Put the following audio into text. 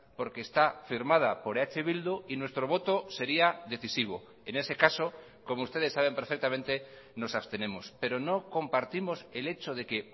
porque está firmada por eh bildu y nuestro voto sería decisivo en ese caso como ustedes saben perfectamente nos abstenemos pero no compartimos el hecho de que